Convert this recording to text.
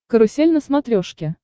карусель на смотрешке